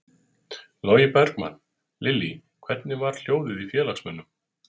Logi Bergmann: Lillý, hvernig var hljóðið í félagsmönnum?